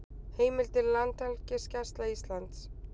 Heimildir Landhelgisgæsla Íslands